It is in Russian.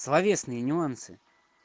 словесные нюансы